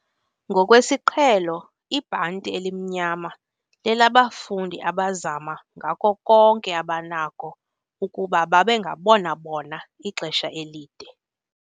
Ngokwesiqhelo ibhanti elimnyama lelabafundi abazama ngako konke abanakho ukuba babe ngabona bona ixesha elide.